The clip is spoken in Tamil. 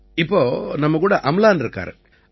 இப்ப நம்மகூட அம்லன் இருக்காரு